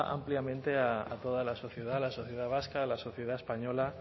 ampliamente a toda la sociedad a la sociedad vasca a la sociedad española